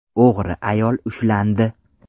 O‘g‘ri ayol ushlandi.